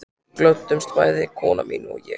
Við glöddumst bæði, kona mín og ég